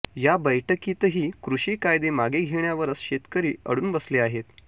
या बैठकीतही कृषी कायदे मागे घेण्यावरच शेतकरी अडून बसले आहेत